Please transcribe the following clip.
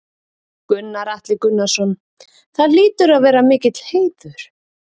Gunnar Atli Gunnarsson: Það hlýtur að vera mikill heiður?